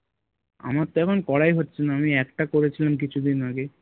আমার তো এখন করাই হচ্ছে না আমি একটা করেছিলাম কিছুদিন আগে